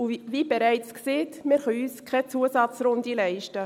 Und wie bereits gesagt: Wir können uns keine Zusatzrunde leisten.